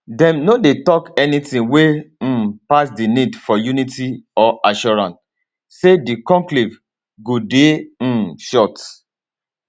dem no dey tok anytin wey um pass di need for unity or assurance say di conclave go dey um short